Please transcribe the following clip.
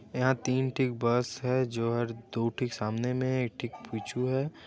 एहा तीन ठीक बस हैं जोहर दु ठीक सामने मे एक ठीक पीछू हैं।